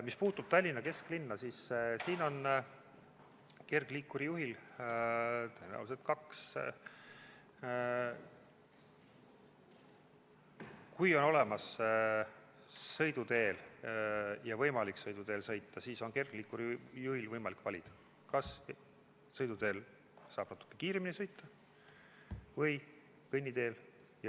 Mis puutub Tallinna kesklinna, siis kui on olemas sõidutee ja on võimalik sõiduteel sõita, siis on kergliikuri juhil võimalik valida, kas sõita sõiduteel, kus saab natukene kiiremini sõita, või kõnniteel.